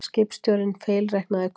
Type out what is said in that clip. Skipstjórinn feilreiknaði kúrs